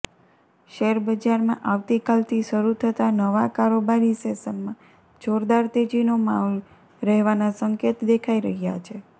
શેરબજારમાં આવતીકાલથી શરૂ થતા નવા કારોબારી સેશનમાં જોરદાર તેજીનો માહોલ રહેવાના સંકેત દેખાઈ રહ્યા છે